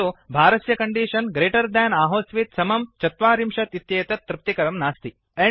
किन्तु भारस्य condition greater than आहोस्वित् समं ४० इत्येतत् तृप्तिकरं नास्ति